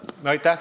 Aitäh!